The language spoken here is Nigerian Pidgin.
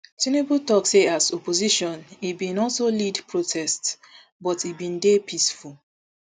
tinubu tok say as opposition e bin also lead protests but e bin dey peaceful